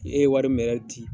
E ye wari min ci .